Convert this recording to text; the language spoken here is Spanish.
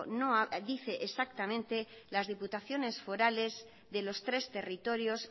dice exactamente las diputaciones forales de los tres territorios